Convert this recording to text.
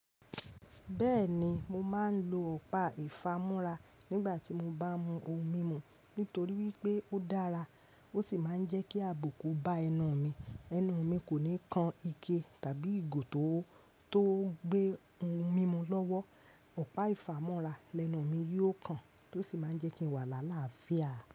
Bẹẹni mo máa n lo ọ̀pá ifàmúra nígbà ti mo ba ń mu ohùn mímú nítorí wípé ó dára, ó sì máa ń jẹ́ kí àbùkù bá ẹnu mi. Ẹnu mí kòní kán ike tàbí ìgò to gbé ohùn mímú l'ọwọ. Ọ̀pá ìfámú́ra lẹnu mi yóò kan tó sì máa ń jẹ́ kí n wà láàlá fíà.